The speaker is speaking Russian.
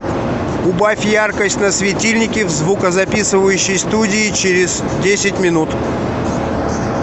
убавь яркость на светильнике в звукозаписывающей студии через десять минут